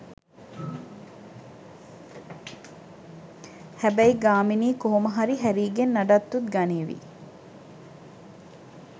හැබැයි ගාමිණී කොහොම හරි හැරීගෙන් නඩත්තුත් ගනීවි